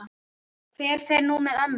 Hver fer nú með ömmu?